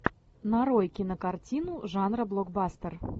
нарой кинокартину жанра блокбастер